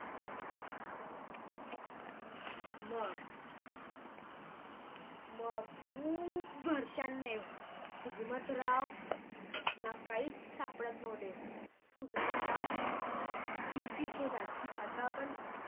मग खूप वर्षानी हुजमात्रावला काहीच सापडत नव्हते हुजमतराव चिंतित होता की आता आपण